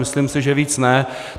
Myslím si, že víc ne.